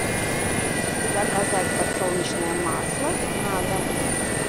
заказать подсолнечное масло на дом